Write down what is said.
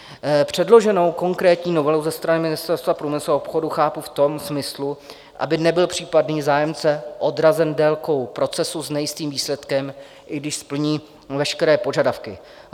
Předloženou konkrétní novelu ze strany Ministerstva průmyslu a obchodu chápu v tom smyslu, aby nebyl případný zájemce odrazen délkou procesu s nejistým výsledkem, i když splní veškeré požadavky.